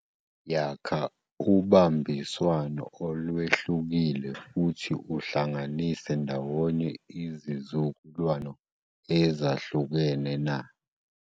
Yakha ubambiswano olwehlukile futhi uhlanganise ndawonye izizukulwano ezahlukene, na.